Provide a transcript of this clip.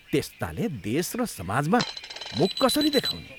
त्यस्ताले देश र समाजमा मुख कसरी देखाउने।